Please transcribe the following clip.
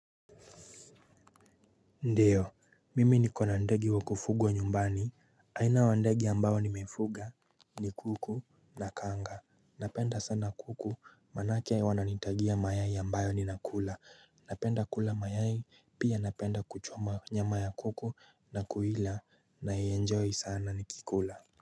Ndio, mimi niko na ndege wakufugwa nyumbani, aina ya ndege ambayo nimefuga ni kuku na kanga, napenda sana kuku, manake wananitagia mayai ambayo ninakula, napenda kula mayai pia napenda kuchoma nyama ya kuku na kuila naienjoy sana nikikula.